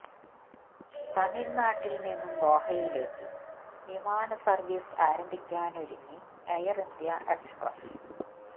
തമിഴ്നാട്ടിൽ നിന്നും ദോഹയിലേക്ക് വിമാന സർവീസ് ആരംഭിക്കാനൊരുങ്ങി എയർ ഇന്ത്യ എക്സ്പ്രസ്